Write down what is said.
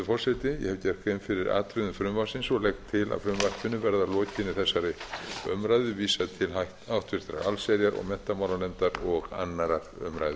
forseti ég hef gert grein fyrir atriðum frumvarpsins og legg til að frumvarpinu verði að lokinni þessari umræðu vísað til háttvirtrar allsherjar og menntamálanefndar og annarrar umræðu